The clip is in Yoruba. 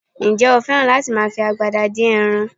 Ǹjẹ́ o fẹ́ràn láti máa fi agbada dín ẹran?